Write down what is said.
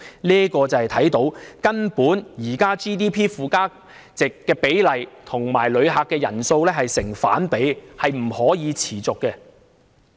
由此可見，現時旅遊業附加值佔 GDP 的比例與旅客人數根本成反比，是不能持續的。